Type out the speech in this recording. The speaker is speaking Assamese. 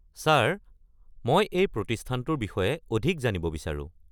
ছাৰ, মই এই প্ৰতিস্থানটোৰ বিষয়ে অধিক জানিব বিচাৰো।